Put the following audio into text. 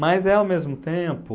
Mas é ao mesmo tempo...